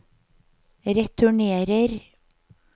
returnerer